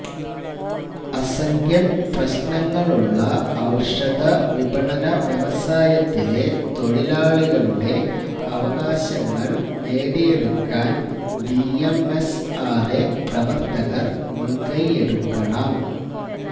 അസംഖ്യം പ്രശ്നങ്ങളുള്ള ഔഷധവിപണന വ്യവസായത്തിലെ തൊഴിലാളികളുടെ അവകാശങ്ങള് നേടിയെടുക്കാന് ബിഎംഎസ്ആര്എ പ്രവര്ത്തകര് മുന്കൈയെടുക്കണം